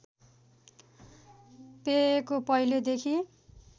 पेयको पहिले देखि